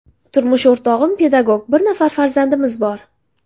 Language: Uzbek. Turmush o‘rtog‘im pedagog, bir nafar farzandimiz bor.